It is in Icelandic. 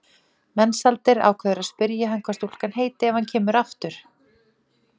En hún var byrjuð að borða það sem var ekki matur.